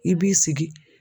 I b'i sigi.